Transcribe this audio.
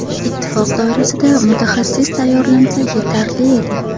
Ittifoq doirasida mutaxassis tayyorlansa yetarli edi.